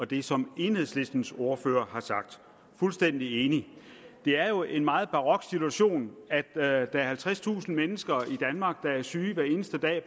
det som enhedslistens ordfører har sagt fuldstændig enige det er jo en meget barok situation at der er halvtredstusind mennesker i danmark der er syge